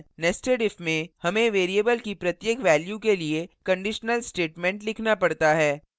nestedif में हमें variable की प्रत्येक value के लिए conditional statement लिखना पड़ता है